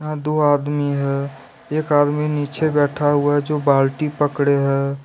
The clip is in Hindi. यहां दो आदमी है एक आदमी नीचे बैठा हुआ है जो बाल्टी पकड़े है।